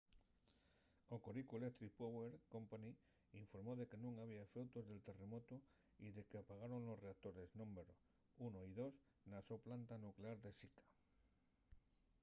hokoriku electric power co. informó de que nun había efeutos del terremotu y de qu’apagaron los reactores númberu 1 y 2 na so planta nuclear de shika